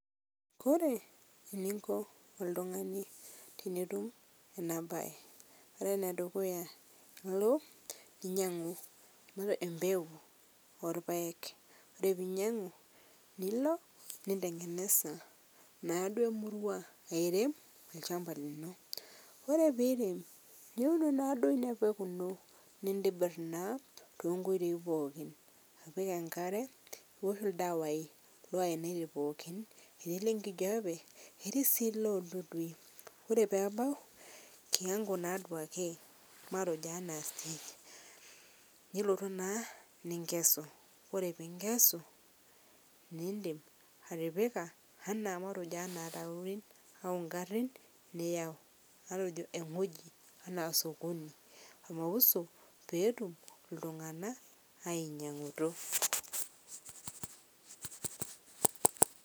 Kore eninkoo oltung'ani tinitum ana bai kore nedukuya iloo ninyeng'u matee empekuu olpaeg kore piinyang'u nilo nintengenez naaduo murua airem lchampaa linoo, kore piirem nultu naaduo inia pekuu inoo nintibir naa tenkoitoi pookin apik enkaree oldawai lo ainatii pooki eti lonkijepe etii sii leldudui kore peebau kiwango naa duake matejo ana stage nilotuu naa ninkesuu kore pinkesuu nindim atipika matejo ana rorin au nkarin niyau matejo engojii anaa sokoni matejo pootum ltung'ana ainyeng'utu.